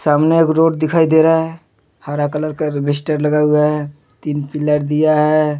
हमें एक रोड दिखाई दे रहा है हरा कलर का रबिशटर लगा हुआ है तीन पीलर दिया है।